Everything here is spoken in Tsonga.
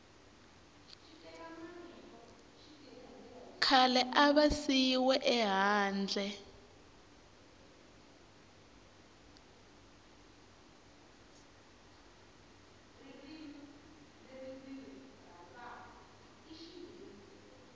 khale a va siyiwe ehandle